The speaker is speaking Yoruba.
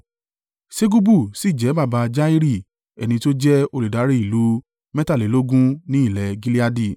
Segubu sì jẹ́ baba Jairi, ẹni tí ó jẹ́ olùdarí ìlú mẹ́tàlélógún ní ilẹ̀ Gileadi.